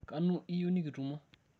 kanu iyieu nikitumo?